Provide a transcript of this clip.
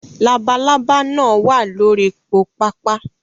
Labalábá náà wà lórí po pápá